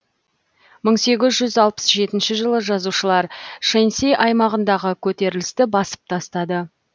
бір мың сегіз жүз алпыс жетінші жылы жазалаушылар шэньси аймағындағы көтерілісті басып тастады